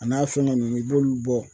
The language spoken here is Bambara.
A n'a fɛngɛ nunnu i b'olu bɔ